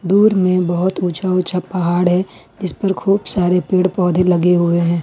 दूर में बहोत ऊंचा ऊंचा पहाड़ है जिस पर खूब सारे पेड़ पौधे लगे हुए है।